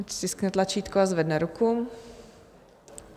Ať stiskne tlačítko a zvedne ruku.